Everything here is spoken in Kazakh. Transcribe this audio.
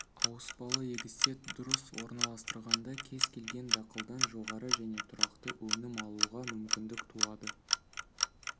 ауыспалы егісте дұрыс орналастырғанда кез-келген дақылдан жоғары және тұрақты өнім алуға мүмкіндік туады